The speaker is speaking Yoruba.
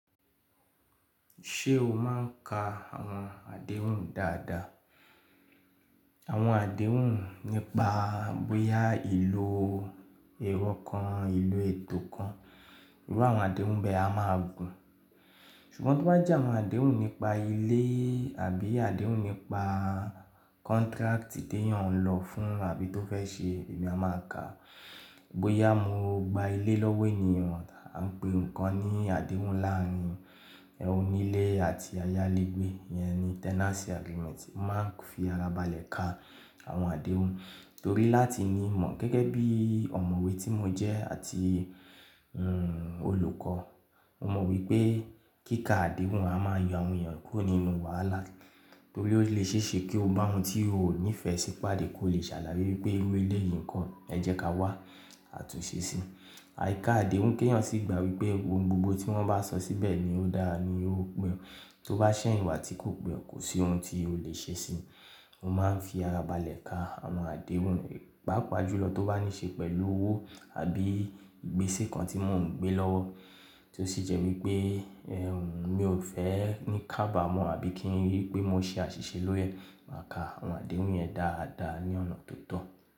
Ṣé o máa ń ka àwọn àdéhùn dáadáa? Àwọn àdéhùn nípa bóyá ìlò èrò kan, ìlò ètò kan, irú àwọn àdéhùn bẹ a máa gùn. Ṣùgbọ́n tí ó bá jẹ́ àwọn àdéhùn nípa ilé àbí àdéhùn nípa contract tí èèyàn ń lọ fún àbí tó fẹ́ ṣe, èmi a máa kàá. Bóyá mo gba ilé lọ́wọ́ ènìyàn, à ń pe nǹkan ní àdéhùn láàárín onílé àti ayálégbé, ìyẹn ni tenancy agreement. Mo máa ń fi ara balẹ̀ ka àwọn àdéhùn torí láti ní mọ̀. Gẹ́gẹ́ bí ọ̀mọ̀wé tí mo jẹ́ àti, hm, olùkọ́, mo mọ̀ wípé kíka àdéhùn a máa yọ áwọn èèyàn kúrò nínú wàhálà torí ó lè ṣèṣe kí o bá ohun tí o ò nífẹ̀ẹ́ sí pàdé kó le ṣàlàyé wípé irú elé yìí ń kọ́, ẹ jẹ́ ká wá, a tún ṣe sí i. Àìka àdéhùn kéyàn sì gba wípé ohun gbogbo tí wọ́n bá sọ síbẹ̀ ni ó dára ni ó pẹ́. Tó bá ṣẹ̀yìn wá tí kò pẹ́, kò sí ohun tí o lè ṣe sí i. Mo máa ń fi ara balẹ̀ ka àwọn àdéhùn, pàápàá jùlọ tó bá ní ṣe pẹ̀lú owó àbí ìgbésí kan tí mò ń gbé lọ́wọ́ tí ó sì jẹ́ wípé, ẹ́, mi ò fẹ́ ní ká bà mọ́ àbí kí ń rí pé mo ṣe àṣìṣe lórí ẹ̀. Màá ka àwọn àdéhùn yẹn dáadáa ní ọ̀nà tó tọ́.